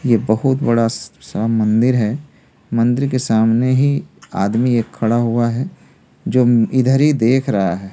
ये बहुत बड़ा सा मंदिर है मंदिर के सामने ही आदमी एक खड़ा हुआ है जो इधर ही देख रहा है।